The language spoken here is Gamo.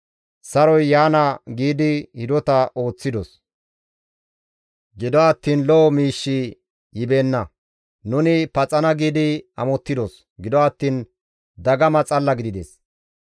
‹Saroy yaana› giidi hidota ooththidos; gido attiin lo7o miishshi yibeenna. ‹Nuni paxana› giidi amottidos; gido attiin dagama xalla gidides.